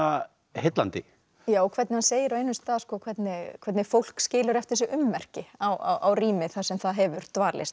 heillandi já hvernig hann segir á einum stað hvernig hvernig fólk skilur eftir sig ummerki á rými þar sem það hefur dvalist